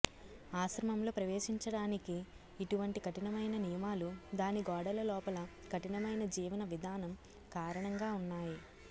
ఆశ్రమంలో ప్రవేశించడానికి ఇటువంటి కఠినమైన నియమాలు దాని గోడల లోపల కఠినమైన జీవన విధానం కారణంగా ఉన్నాయి